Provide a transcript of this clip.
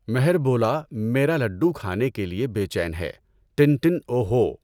مہر بولا میرا لڈو کھانے کے لئے بے چین ہے ٹن ٹن اوُ ہو!